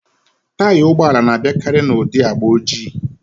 Taya ụgbọala na-abịakari n'ụdị agba ojii